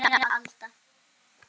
Kæra Alda.